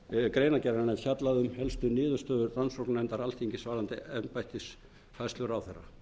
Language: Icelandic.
greinargerðarinnar er fjallað um helstu niðurstöður rannsóknarnefndar alþingis varðandi embættisfærslur ráðherra